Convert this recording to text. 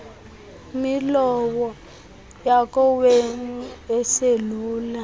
milowo yakowethu iselubala